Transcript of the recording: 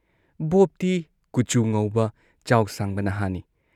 ꯕꯣꯕꯇꯤ ꯀꯨꯆꯨ ꯉꯧꯕ, ꯆꯥꯎ ꯁꯥꯡꯕ ꯅꯍꯥꯅꯤ ꯫